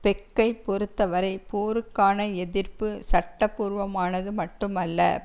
பெக்கை பொறுத்தவரை போருக்கான எதிர்ப்பு சட்டபூர்வமானது மட்டுமல்ல